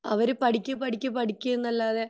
അവർ പടിക്ക് പടിക്ക് പടിക്ക് എന്നല്ലാതെ